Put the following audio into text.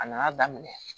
A nana daminɛ